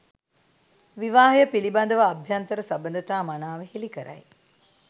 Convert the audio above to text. විවාහය පිළිබඳව අභ්‍යන්තර සබඳතා මනාව හෙළිකරයි.